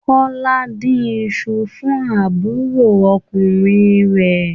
Kọ́lá ń dín iṣu fún àbúròkùnrin rẹ̀.